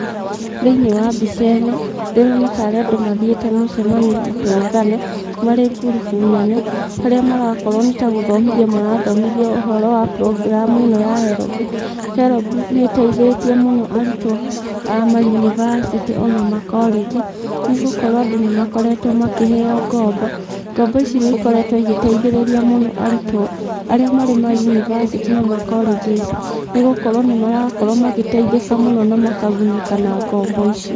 Thĩiniĩ wa mbica ĩno ndĩrona tarĩ andũ mathiĩte mũcemanio gũtũngana marĩ ngurubu nene harĩa marakorwo nĩtagũthomithio marathomithio ũhoro wa prongramu ĩno ya herombu. Herombu nĩ ĩteithĩtie mũno arutwo a ma yunivacitĩ ona makorĩnji nĩgũkorwo andũ nĩmakoretwo makĩheo ngombo. Ngombo ici nĩ ikoretwo igĩteithĩrĩria mũno arutwo arĩa marĩ mayunivacitĩ na makorĩnji nĩgũkorwo nĩmarakorwo magĩteithĩka mũno na makagunĩka na ngombo ici.